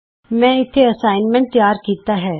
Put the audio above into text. ਮੈਂ ਇਥੇ ਅਸਾਈਨਮੈਂਟ ਤਿਆਰ ਕੀਤਾ ਹੈ